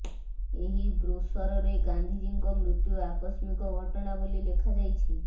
ଏହି ବ୍ରୋସରରେ ଗାନ୍ଧିଜୀଙ୍କ ମୃତ୍ୟୁ ଆକସ୍ମିକ ଘଟଣା ବୋଲି ଲେଖାଯାଇଛି